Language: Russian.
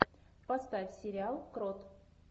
поставь сериал крот